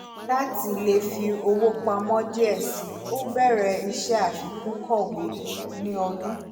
lati lè fi owó pamọ́ díẹ̀ síi ó bẹ̀rẹ̀ iṣẹ́ àfikún kọ́wé ní ọdún